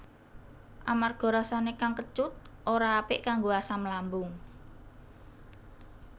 Amarga rasané kang kecut ora apik kanggo asam lambung